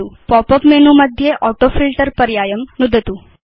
pop up menu मध्ये autofilter पर्यायं नुदतु